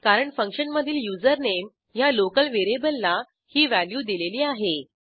कारण फंक्शनमधील युझरनेम ह्या लोकल व्हेरिएबलला ही व्हॅल्यू दिलेली आहे